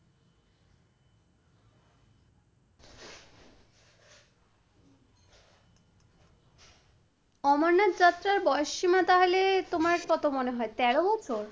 অমরনাথের যাত্রার বয়স সীমা তাহলে তোমার কত মনে হয় তেরো বছর?